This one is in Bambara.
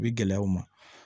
U bi gɛlɛya u ma